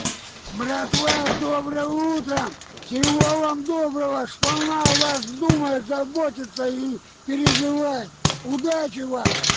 братва с добрым утром всего вам доброго шпана о вас думает заботится и переживает удачи вам